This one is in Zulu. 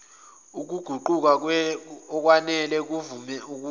ukuguquguka ngokwanele ukuvumela